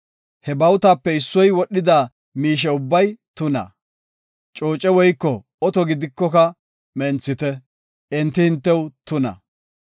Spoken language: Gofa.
He bawutape issoy wodhida miishe ubbay tuna; cooce woyko oto gidikoka menthite; enti hintew tuna.